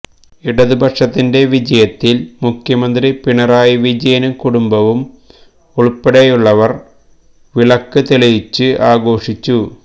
ഇടതുപക്ഷത്തിന്റെ വിജയത്തിൽ മുഖ്യമന്ത്രി പിണറായി വിജയനും കുടുംബവും ഉൾപ്പടെയുള്ളവർ വിലക്ക് തെളിയിച്ചു ആഘോഷിച്ചു